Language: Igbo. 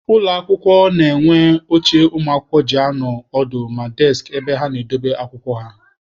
Ụlọ akwụkwọ na-enwe oche ụmụakwụkwọ ji anọ ọdụ na deskị ebe ha na-edobe akwụkwọ ha.